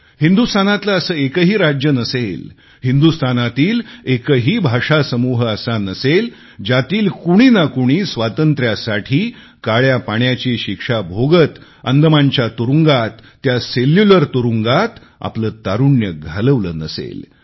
हिंदुस्थानातले असे एकही राज्य नसेल हिंदुस्तानातील एकही भाषासमूह असा नसेल ज्यातील कुणी न कुणी स्वातंत्र्यासाठी काळ्यापाण्याची शिक्षा भोगत अंदमानच्या तुरुंगात त्या सेल्युलर तुरुंगात आपले तारुण्य घालवले नसेल